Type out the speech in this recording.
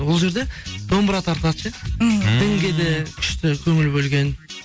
ол жерде домбыра тартады ше мхм дінге де күшті көңіл бөлген